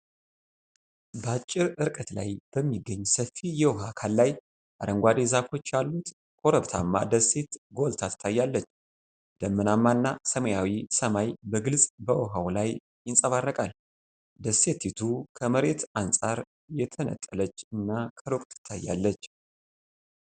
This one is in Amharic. በአጭር ርቀት ላይ በሚገኝ ሰፊ የውሃ አካል ላይ አረንጓዴ ዛፎች ያሉት ኮረብታማ ደሴት ጎልታ ትታያለች። ደመናማና ሰማያዊው ሰማይ በግልጽ በውሃው ላይ ይንፀባረቃል። ደሴቲቱ ከመሬት አንጻር የተነጠለች እና ከሩቅ ትታያለች።